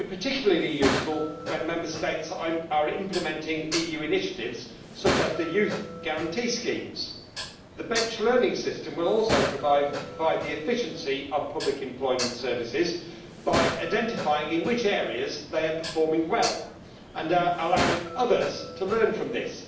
This will be particularly useful when Member States are implementing EU initiatives such as the Youth Guarantee schemes. The bench learning' system will also enhance the efficiency of public employment services by identifying in which areas they are performing well and allowing others to learn from this.